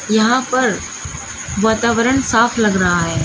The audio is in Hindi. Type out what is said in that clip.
यहां पर वातावरण साफ लग रहा है।